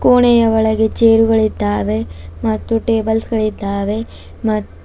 ಕೊಣೆಯ ಒಳಗೆ ಚೇರುಗಳಿದ್ದಾವೆ ಮತ್ತು ಟೇಬಲ್ಸ್ ಗಳಿದ್ದಾವೆ ಮ್--